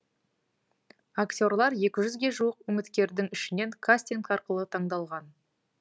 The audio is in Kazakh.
актерлар екі жүзге жуық үміткердің ішінен кастинг арқылы таңдалған